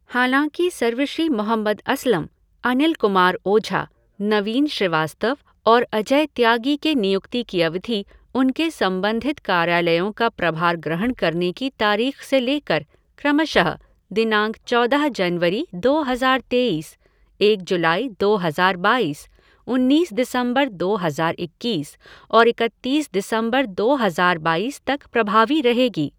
हालाँकि सर्वश्री मोहम्मद असलम, अनिल कुमार ओझा, नवीन श्रीवास्तव और अजय त्यागी के नियुक्ति की अवधि उनके संबंधित कार्यालयों का प्रभार ग्रहण करने की तारीख से लेकर क्रमशः दिनांक चौदह जनवरी दो हज़ार तेईस, एक जुलाई दो हज़ार बाईस, उन्नीस दिसंबर दो हज़ार इक्कीस और इकतीस दिसंबर दो हज़ार बाईस तक प्रभावी रहेगी।